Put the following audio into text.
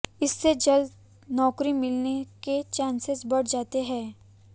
इससे जल्द नौकरी मिलने के चाॅसेस बढ़ जाते हैं